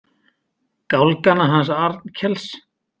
Gálgana hans Arnkels.